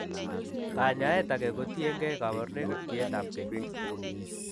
Kanyaet age ko tiengei kabarunoik ak tiet ab gei